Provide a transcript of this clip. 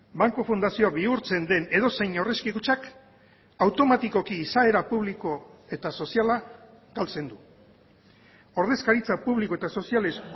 banku fundazioa bihurtzen den edozein aurrezki kutxak automatikoki izaera publiko eta soziala galtzen du ordezkaritza publiko eta sozialez